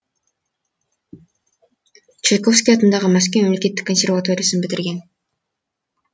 чайковский атындағы мәскеу мемлекеттік консерваториясын бітірген